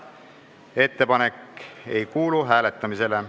Ettepanek ei kuulu hääletamisele.